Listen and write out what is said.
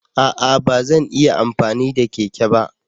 A'a! Ba zan iya amfani da keke ba.